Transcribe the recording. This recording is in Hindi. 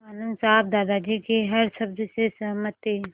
आनन्द साहब दादाजी के हर शब्द से सहमत थे